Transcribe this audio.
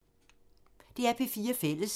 DR P4 Fælles